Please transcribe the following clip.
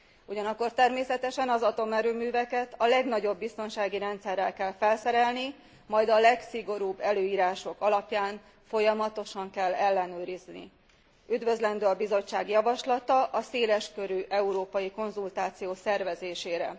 Ugyanakkor természetesen az atomerőműveket a legnagyobb biztonsági rendszerrel kell felszerelni, majd a legszigorúbb előírások alapján folyamatosan kell ellenőrizni. Üdvözlendő a Bizottság javaslata a széleskörű európai konzultáció szervezésére.